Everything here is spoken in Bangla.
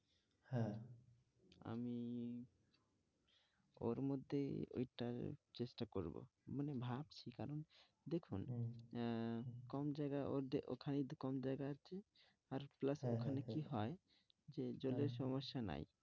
ওর মধ্যেই ওইটার চেষ্টা করবো, মানে ভাবছি কারণ দেখুন আহ কম জায়গা ওখানেই তো কম জায়গা আছে আর plus ওখানে কি হয় যে জলের সমস্যা নাই।